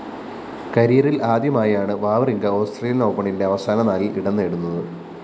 കരിയറില്‍ ആദ്യമായാണ്‌ Wawrinka Australian‍ ഓപ്പണിന്റെ അവസാന നാലില്‍ ഇടംനേടുന്നത്‌